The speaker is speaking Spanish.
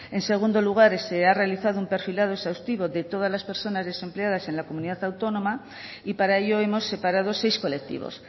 en segundo lugar se ha realizado un perfilado exhaustivo de todas las personas desempleadas en la comunidad autónoma y para ello hemos separado seis colectivos